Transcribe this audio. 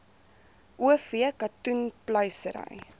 o v katoenpluisery